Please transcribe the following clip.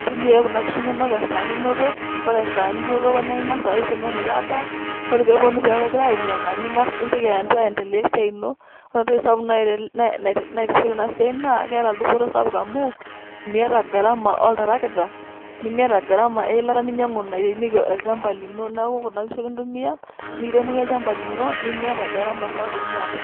Ntumia ake kuna kishu nonok esaa ninoto, ore esaa ninotoko na ing'asa aisho meshomoita adaa, ore peponu peku egira ayeng'yeng'a, ning'as nintoki ang'asa aendelea esiai ino, ore entoki sapuk naata enasiai naa, keeta dupoto sapuk amuu, miata garama oltarakita, nimiata garama weilata ninyang'u nairemieki olchamba lino, neeku kuna kishu ake intumia, nikiremoki olchamba lino, nimiata garama sapuk niata.